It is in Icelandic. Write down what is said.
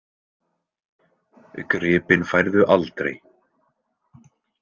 Gripinn færðu aldrei.